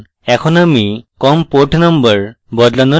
এখন আমি com port number বদলানোর পদ্ধতি দেখাই